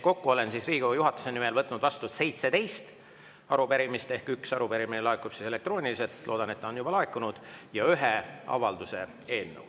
Kokku olen Riigikogu juhatuse nimel võtnud vastu 17 arupärimist – üks arupärimine laekub elektrooniliselt, loodan, et on juba laekunud – ja ühe avalduse eelnõu.